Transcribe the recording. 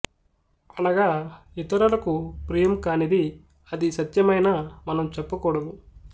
అనగా ఇతరులకు ప్రియం కానిది అది సత్యమైనా మనం చెప్పకూడదు